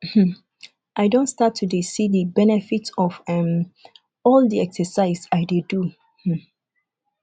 um i don start to dey see the benefits of um all the exercise i dey do um